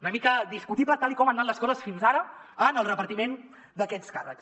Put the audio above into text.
una mica discutible tal com han anat les coses fins ara en el repartiment d’aquests càrrecs